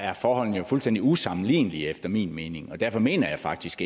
er forholdene fuldstændig usammenlignelige efter min mening og derfor mener jeg faktisk